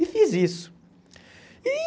E fiz isso. E